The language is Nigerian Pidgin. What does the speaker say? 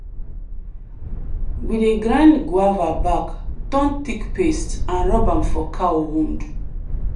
we dey grind guava bark turn thick paste and rub am for cow wound.